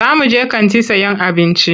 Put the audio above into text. Za muje kanti sayan abinci.